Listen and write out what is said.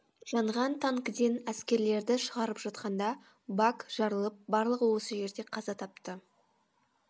жанған танкіден әскерлерді шығарып жатқанда бак жарылып барлығы осы жерде қаза тапты